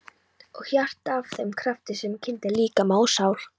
Og hjartað að þeim krafti sem kyndir líkama og sál?